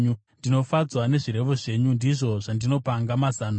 Ndinofadzwa nezvirevo zvenyu; ndizvo zvinondipanga mazano.